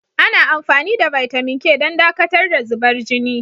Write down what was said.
Ana amfani da bitamin K don dakatar da zubar jini.